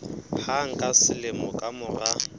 hang ka selemo ka mora